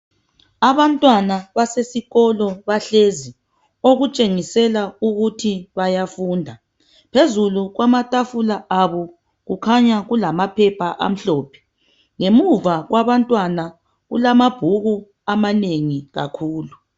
Abantwana basesikolo bahlezi bayafunda. Phezulu kwamatafula abo kulamaphepha amhlophe ngemuva kwabo kulamabhuku amanengi kakhulu.